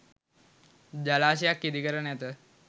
ජලාශයක් ඉඳිකර නැත